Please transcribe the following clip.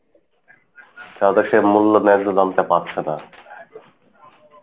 তাদের সেই মূল্য ন্যায্য দাম টা পাচ্ছে না।